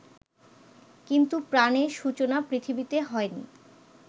কিন্তু প্রাণের সূচনা পৃথিবীতে হয়নি